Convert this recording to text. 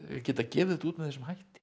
geta gefið þetta út með þessum hætti